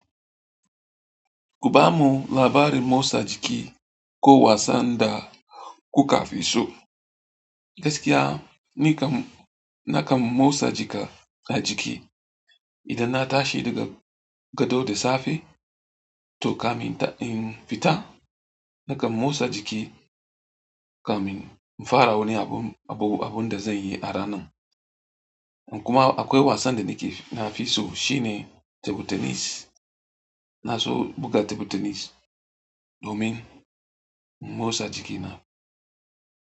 Ku bamu labarin motsa jiki ko wasan da kuka fi so. Gaskiya ni kam na kam motsa jika a jiki. Idan na tashi daga gado da safe to kamin in fita, na kam motsa jiki kamin in fara wani abu, abun da zan yi a ranan. Kuma akwai wasan da ni ke nafi so shine table tennis. Na so buga tebur tenis domin in motsa jikina.